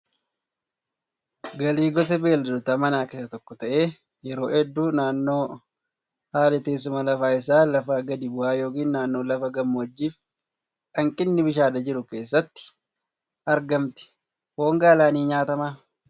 Gaalli gosa beeyladoota manaa keessaa tokko ta'ee yeroo hedduu naannoo haalli teessuma lafaa isaa lafa gadi bu'aa yookiin naannoo lafa gammoojjii fi hanqinni bishaanii jiru keessatti argamti. Foon gaalaa ni nyaatamaa?